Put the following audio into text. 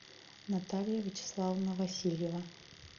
наталья вячеславовна васильева